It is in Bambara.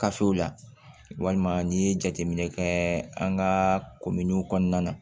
Kafew la walima n'i ye jateminɛ kɛ an ka kominiw kɔnɔna na